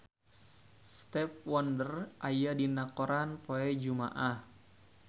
Stevie Wonder aya dina koran poe Jumaah